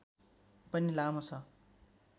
पनि लामो छ